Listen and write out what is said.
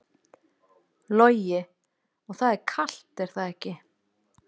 Logi: Og það er kalt er það ekki?